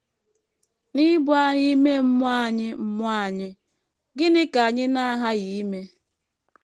N’ibu agha ime mmụọ anyị mmụọ anyị, gịnị ka anyị na - aghaghị ime?